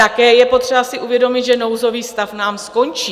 Také je potřeba si uvědomit, že nouzový stav nám skončí.